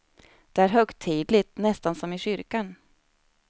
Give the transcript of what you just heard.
Det är högtidligt, nästan som i kyrkan.